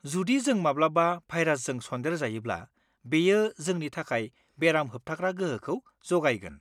जुदि जों माब्लाबा भाइरासजों सन्देरजायोब्ला बेयो जोंनि थाखाय बेराम होबथाग्रा गोहोखौ जगायगोन।